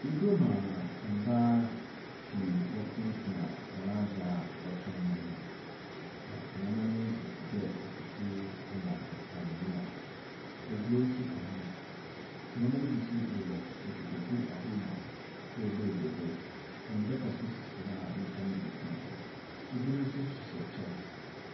Iguam a mbaa pii wɔtsenatsena hɔn adze a wɔtɔn ho, na nneɛma no bi te dɛ ekutu ne anamuna. Eburo nso ka ho. Nneɛma no bi nso wowɔ nkotoku ahorow mu a woebuebue do. Ndaka nso sisi hɔ a nyimpa no bi tsena do. Ibinom nso hyehyɛ kyɛw.